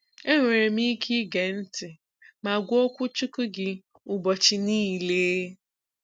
Enwere m ike ige ntị ma gụọ okwuchukwu gị ụbọchị niile!